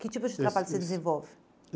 Que tipo de trabalho você desenvolve?